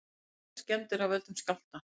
Engar skemmdir af völdum skjálfta